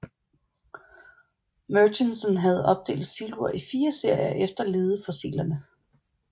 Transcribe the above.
Murchison havde opdelt Silur i fire serier efter ledefossilerne